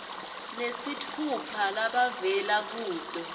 nesitfupha labavela kuto